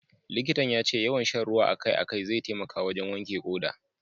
Likitan ya ce yawan sha ruwa a kai a kai zai taimaka wajen wanke ƙoda.